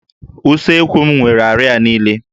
Usekwu m nwere àrịá niile